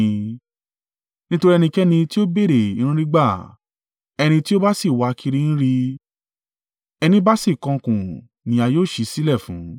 Nítorí ẹnikẹ́ni tí ó béèrè ń rí gbà, ẹni tí ó bá sì wà kiri ń rí, ẹni bá sì kànkùn ni a yóò ṣi sílẹ̀ fún.